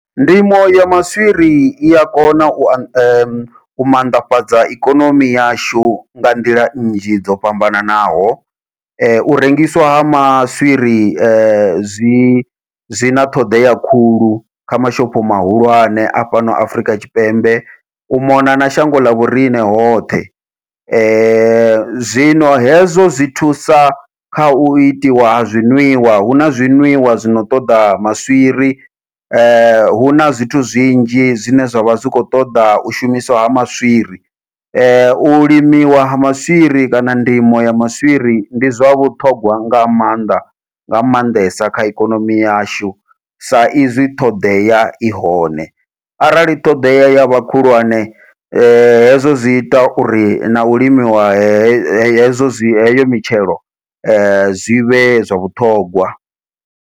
Ndimo ya maswiri ia kona u a u mannḓafhadza ikonomi yashu nga nḓila nnzhi dzo fhambananaho, u rengiswa maswiri zwi zwi na ṱhoḓea khulu kha mashopho mahulwane a fhano Afrika Tshipembe u mona na shango ḽa vhoriṋe hoṱhe, zwino hezwo zwi thusa kha u itiwa ha zwi ṅwiwa huna zwi ṅwiwa zwino ṱoḓa maswiri huna zwithu zwinzhi zwine zwavha zwi kho ṱoḓa u shumiswa ha maswiri. U limiwa ha maswiri kana ndimo ya maswiri ndi zwa vhuṱhogwa nga maanḓa nga maanḓesa kha ikonomi yashu, sa izwi ṱhoḓea i hone arali ṱhoḓea yavha khulwane hezwo zwi ita uri nau limiwa hezwo zwi heyo mitshelo zwivhe zwa vhuṱhongwa.